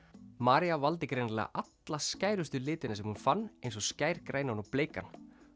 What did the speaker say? María valdi greinilega alla skærustu litina sem hún fann eins og skærgrænan og bleikan